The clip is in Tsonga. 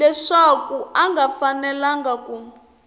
leswaku a nga fanelangi ku